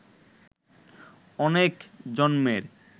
অনেক জন্মের